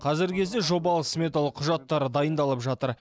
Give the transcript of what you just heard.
қазіргі кезде жобалық сметалық құжаттары дайындалып жатыр